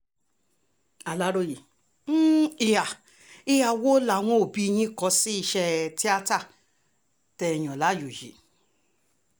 aláròye um ìhà um ìhà wo làwọn òbí yín kò sí iṣẹ́ tíátá um tẹ́ ẹ yàn láàyò yìí